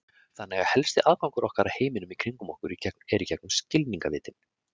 Þannig er að helsti aðgangur okkar að heiminum í kringum okkur er gegnum skilningarvitin.